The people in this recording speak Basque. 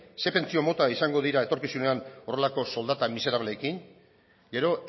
ze pentsio mota izango dira etorkizunean horrelako soldata miserableekin gero